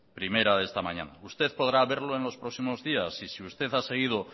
primera de esta mañana usted podrá verlo en los próximos días y si usted ha seguido